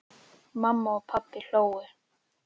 Mamma og pabbi hlógu.